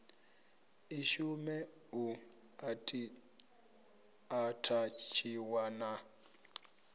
i shume u athatshiwa na